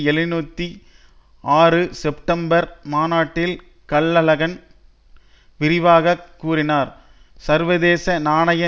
எழுன்னுத்தி ஆறு செப்டம்பர் மாநாட்டில் கல்லகன் விரிவாக கூறினார் சர்வதேச நாணய